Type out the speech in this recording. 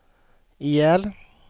ihjäl